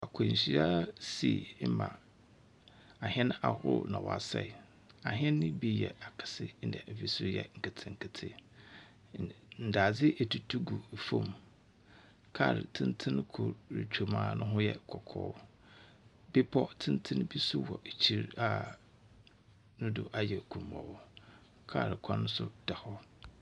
Akwanhyia si ma ahɛn ahorow na wɔasɛɛ. Ahɛn no bi yɛ akɛse na bi so yɛ nketsenketse. Ndadze etutu gu famu. Kaar tsentsen kor rutwa mu a no ho yɛ kɔkɔɔ. bepɔw tsentsen bi so wɔ ekyir a no do ayɛ kumbɔɔ. Kaar kwan so da hɔ.